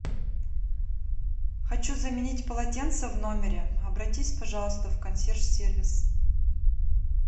хочу заменить полотенца в номере обратись пожалуйста в консьерж сервис